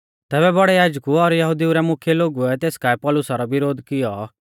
तैबै बौड़ै याजकु और यहुदिऊ रै मुख्यै लोगुऐ तेस काऐ पौलुसा रौ विरोध कियौ